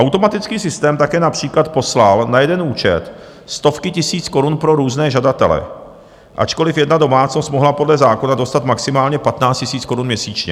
Automatický systém také například poslal na jeden účet stovky tisíc korun pro různé žadatele, ačkoliv jedna domácnost mohla podle zákona dostat maximálně 15 000 korun měsíčně.